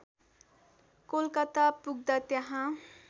कोलकाता पुग्दा त्यहाँ